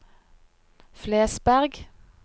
Flesberg